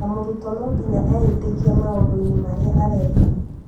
Na mũrutwo no nginya eĩtĩkie maũndũ-inĩ marĩa areka